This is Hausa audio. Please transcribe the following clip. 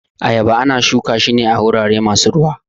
Ayaba ana shuka shi ne a wurare masu ruwa